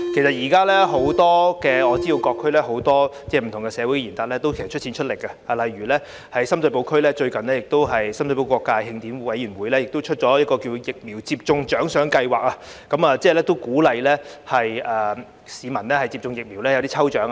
我知道現時各區多位社會賢達出錢出力，例如在深水埗區，最近深水埗各界慶典委員會推出了疫苗接種獎賞計劃，為鼓勵市民接種疫苗而舉辦抽獎活動。